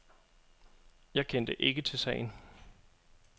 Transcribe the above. Jeg kendte ikke til sagen.